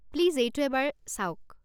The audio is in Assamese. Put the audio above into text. প্লিজ এইটো এবাৰ চাওক।